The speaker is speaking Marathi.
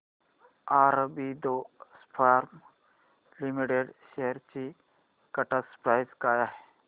ऑरबिंदो फार्मा लिमिटेड शेअर्स ची करंट प्राइस काय आहे